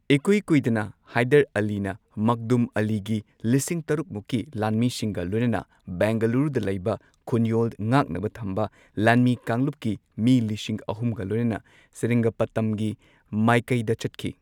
ꯏꯀꯨꯏ ꯀꯨꯏꯗꯅ ꯍꯥꯏꯗꯔ ꯑꯂꯤꯅ ꯃꯛꯗꯨꯝ ꯑꯂꯤꯒꯤ ꯂꯤꯁꯤꯡ ꯇꯔꯨꯛ ꯃꯨꯛꯀꯤ ꯂꯥꯟꯃꯤꯁꯤꯡꯒ ꯂꯣꯏꯅꯅ ꯕꯦꯡꯒꯂꯨꯔꯨꯗ ꯂꯩꯕ ꯈꯨꯟꯌꯣꯜ ꯉꯥꯛꯅꯕ ꯊꯝꯕ ꯂꯥꯟꯃꯤ ꯀꯥꯡꯂꯨꯞꯀꯤ ꯃꯤ ꯂꯤꯁꯤꯡ ꯑꯍꯨꯝꯒ ꯂꯣꯏꯅꯅ ꯁꯦꯔꯤꯡꯒꯥꯄꯇꯝꯒꯤ ꯃꯥꯏꯀꯩꯗ ꯆꯠꯈꯤ꯫